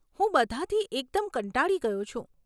હું બધાંથી એકદમ કંટાળી ગયો છું.